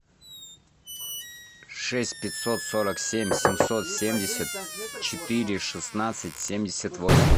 шесть пятьсот сорок семь семьсот семьдесят четыре шестнадцать семьдесят восемь